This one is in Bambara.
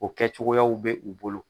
O kɛ cogoya bɛ' u bolo.